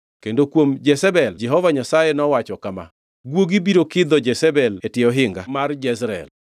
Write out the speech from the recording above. Kendo kuom Jezebel Jehova Nyasaye nowacho kama, guogi biro kidho Jezebel e tie ohinga mar Jezreel.